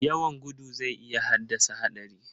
Yawan gudu zai iya haddasa haɗari.